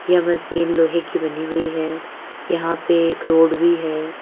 यह मशीन लोहे की बनी हुई है यहां पे एक रोड भी है।